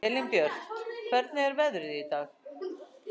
Elínbjört, hvernig er veðrið í dag?